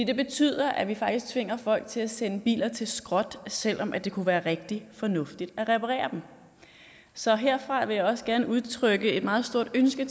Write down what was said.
det betyder at vi faktisk tvinger folk til at sende biler til skrotning selv om det kunne være rigtig fornuftigt at reparere dem så herfra vil jeg også gerne udtrykke et meget stort ønske